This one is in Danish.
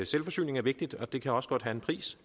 selvforsyning er vigtigt og det kan også godt have en pris